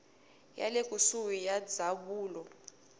ya le kusuhi ya ndzawulo